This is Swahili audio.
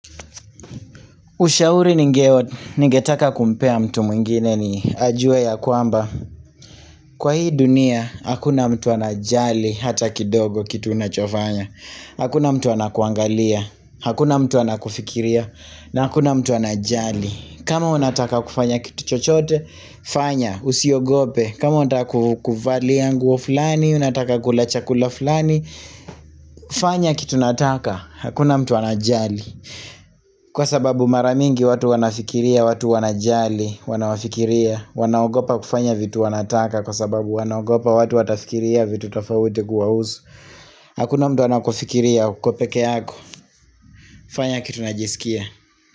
Ushauri ningeo, ningetaka kumpea mtu mwingine ni ajue ya kwamba. Kwa hii dunia, hakuna mtu anajali hata kidogo kitu unachofanya. Hakuna mtu anakuangalia, hakuna mtu anakufikiria na hakuna mtu anajali. Kama unataka kufanya kitu chochote, fanya, usiogope. Kama unataka ku kuvalia nguo fulani, unataka kula chakula fulani, fanya kitu nataka, hakuna mtu anajali. Kwa sababu mara mingi watu wanafikiria watu wanajali, wanawafikiria. Wanaogopa kufanya vitu wanataka kwa sababu wanaogopa watu watafikiria vitu tofauti guwahuzu. Hakuna mtu anakufikiria uko peke yako. Fanya kitu najisikia.